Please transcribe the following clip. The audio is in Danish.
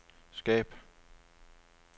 skab